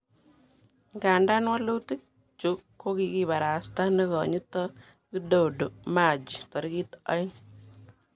Ingadan wolutik chu kokikibarasta nekonyitot Widodo Machi torikit aeng.